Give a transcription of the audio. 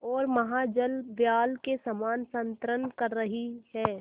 ओर महाजलव्याल के समान संतरण कर रही है